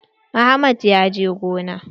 Ahmad ya je gona.